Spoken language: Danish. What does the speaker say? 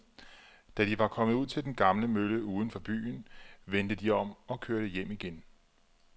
Da de var kommet ud til den gamle mølle uden for byen, vendte de om og kørte hjem igen.